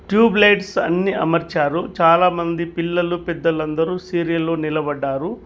Tube lights అన్ని అమర్చారు చాలామంది పిల్లలు పెద్దలందరు సీరియల్ లో నిలబడ్డారు.